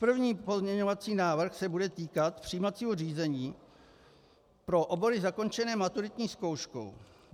První pozměňovací návrh se bude týkat přijímacího řízení pro obory zakončené maturitní zkouškou.